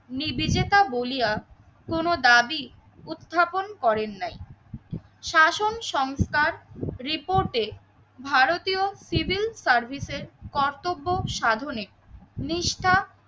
নিবেচেতা বলিয়া কোন দাবি উত্থাপন করেন নাই। শাসন সংস্থার রিপোর্টে ভারতীয় সিভিল সার্ভিসের কর্তব্য সাধনে নিষ্ঠা